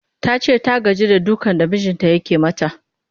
Ta ce ta gaji da dukan da mijinta yake mata